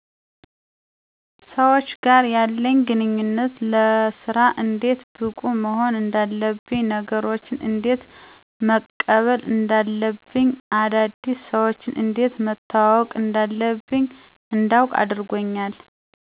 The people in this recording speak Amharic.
ሰዎች ጋር ያለኝ ግንኙነት ለስራ እንዴት ብቁ መሆን እንዳለብኝ ነገሮችን እንዴት መቀበል እንዳለብኝ አዳዲስ ሰዎችን እንዴት መተዋወቅ እንዳለብኝ እንዳዉቅ አድርጎኛል